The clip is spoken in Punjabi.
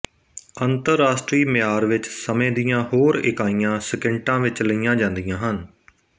ਅੰਤਰਰਾਸ਼ਟਰੀ ਮਿਆਰ ਵਿੱਚ ਸਮੇਂ ਦੀਆਂ ਹੋਰ ਇਕਾਈਆਂ ਸਕਿੰਟਾਂ ਵਿੱਚ ਲਈਆਂ ਜਾਂਦੀਆਂ ਹਨ